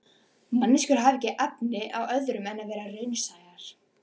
Manneskjur hafa ekki efni á öðru en vera raunsæjar.